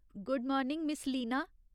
Good morning, miss Leena !